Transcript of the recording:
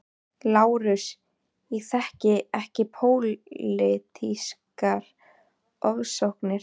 LÁRUS: Ég þekki ekki pólitískar ofsóknir.